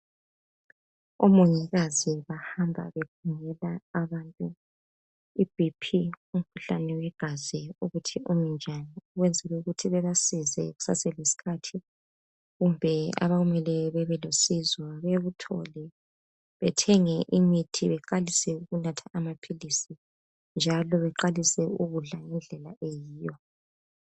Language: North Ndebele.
Omongikazi bahamba begungula abantu iBP, umkuhlane wegazi ukuthi umi njani ukwenzela ukuthi babasize kuseselesikhathi kumbe abamele babe losizo baluthole bethenge imithi baqalise ukunatha amapilisi njalo beqalise ukudla ngendlela eyiyo